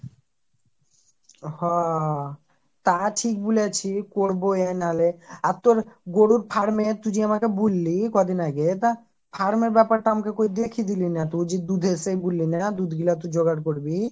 হ হ হ তা ঠিক বলেছি করবোই নাহলে আর তোর গরুর farm এ তুই যে আমাকে বল্লী কদিন আগে তা farm এর ব্যাপারটা আমাকে কই দেখি দিলি না তো যে দুধে এসে গুল্লানা দুধ গুলো একটু যোগের করবি